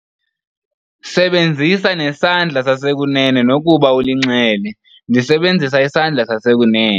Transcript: Sebenzisa nesandla sasekunene nokuba ulinxele. ndisebenzisa isandla sasekunene